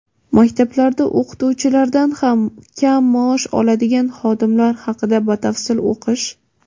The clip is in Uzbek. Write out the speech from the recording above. Maktablarda o‘qituvchilardan ham kam maosh oladigan xodimlar haqida batafsil o‘qish.